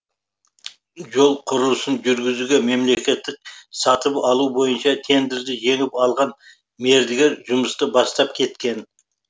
жол құрылысын жүргізуге мемлекеттік сатып алу бойынша тендерді жеңіп алған мердігер жұмысты бастап кеткен